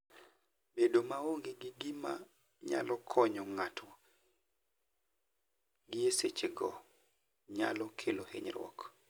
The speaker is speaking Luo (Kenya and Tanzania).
Bedo maonge gi gima nyalo konyo ng'ato gie sechego nyalo kelo hinyruok.